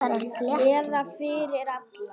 Eða fyrir alla.